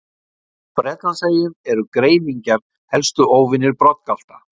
Á Bretlandseyjum eru greifingjar helstu óvinir broddgalta.